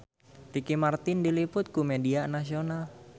Ricky Martin diliput ku media nasional